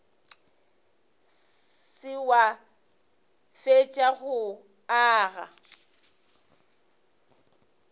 se wa fetša go aga